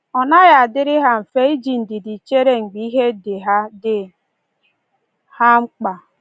Ọ naghị adịrị ha mfe iji ndidi chere mgbe ihe dị ha dị ha mkpa.